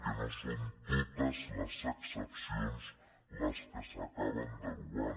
que no són totesexcepcions les que s’acaben derogant